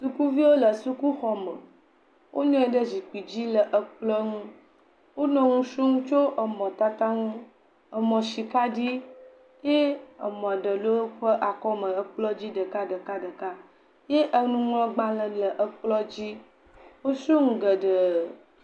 Sukuviwo le sukuxɔme wò nɔ anyi ɖe zikpui dzi le kplɔ̃ ŋu wò nɔ nu srɔ̃m tso mɔ tata ŋu mɔ sika dzi eye mɔ aɖe le wòƒe akɔ me le kple dzi ɖekaɖeka eye nuŋlɔgbalẽ le kplɔ̃ dzi wò srɔ̃ nu geɖe.